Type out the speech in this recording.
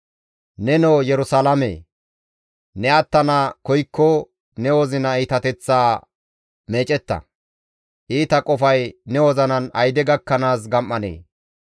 Nenoo Yerusalaamee! Ne attana koykko ne wozina iitateththaa meecetta; Iita qofay ne wozinan ayde gakkanaas gam7anee?